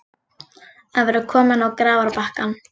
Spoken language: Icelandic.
Að vera kominn á grafarbakkann